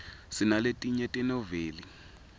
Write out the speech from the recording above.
sinaletinye tenoveli